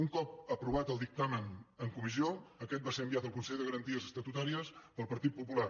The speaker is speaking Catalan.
un cop aprovat el dictamen en comissió aquest va ser enviat al consell de garanties estatutàries pel partit popular